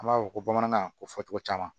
An b'a fɔ ko bamanankan ko fɔ cogo caman